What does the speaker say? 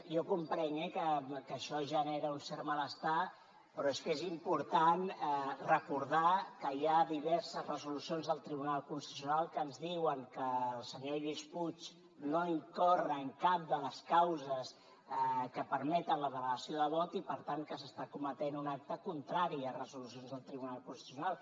jo comprenc que això genera un cert malestar però és que és important recordar que hi ha diverses resolucions del tribunal constitucional que ens diuen que el senyor lluís puig no incorre en cap de les causes que permeten la delegació de vot i per tant que s’està cometent un acte contrari a resolucions del tribunal constitucional